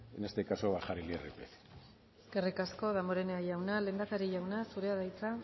en este caso bajar el irpf eskerrik asko danborenea jauna lehendakari jauna zurea da hitza